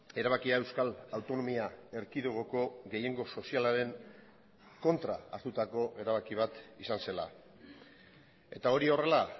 erabakia euskal autonomia erkidegoko gehiengo sozialaren kontra hartutako erabaki bat izan zela eta hori horrela